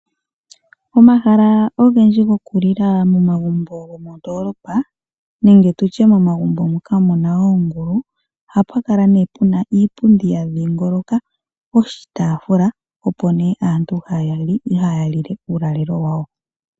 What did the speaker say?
Omahala ogendji gokulila momagumbo gomondoolopa nenge tutye momagumbo moka muna oongulu ohapu kala nee puna Iipundi ya dhiingoloka oshitaafula opo nee aantu haya li le uulalelo wawo.